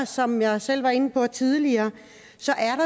som jeg selv var inde på tidligere